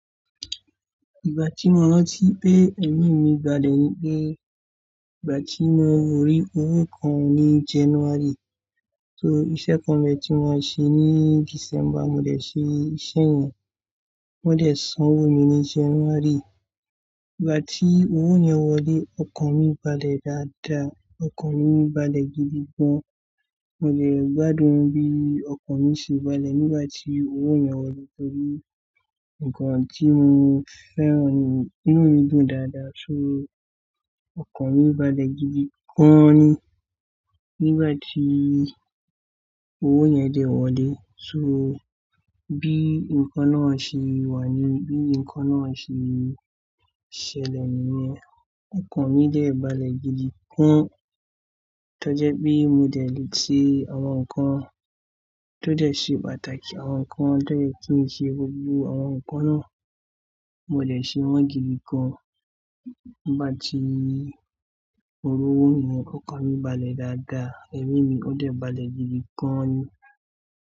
Ìgbà tí mo rantí pé ẹ̀mí mi balẹ̀ ni pé ìgbà tí mo rí owó kan ní January. So iṣẹ́ kan mi tí mo ń ṣe ní December, mo dé ṣe iṣẹ́ yẹn. Wọ́n dé san owó mi ní January. Ìgbà tí owó yẹn wọlé, ọkàn mi balẹ̀ dáadáa, ọkàn mi balẹ̀ gidi gan. Mo dè gbádùn bí ọkàn mi ṣe balẹ̀ nígbà tí owó yẹn wọlé torí nǹkan tí mo fẹ́ràn ní inu mí dùn dáadáa. So ọkàn mi balẹ̀ gidi gan ni nígbà tí owó yẹn dé wọlé. So bí nǹkan náà ṣe wà ni, bí nǹkan náà ṣe ṣẹlẹ̀ nìyẹn, ọkàn mi dé balẹ̀ gidi gan. Tọ́ jẹ́ pe mo dé le ṣe àwọn nǹkan, tọ́ dẹ́ ṣe pàtàkì àwọn nǹkan, tọ́ jẹ́ kí n ṣe gbogbo àwọn nǹkan náà, mo dé ṣe wọ́n gidi gan. Nígbà tí mo rí owó yẹn, ọkàn mi balẹ̀ dáadáa, ẹ̀mí mi ó dé balẹ̀ gidi gan an ni.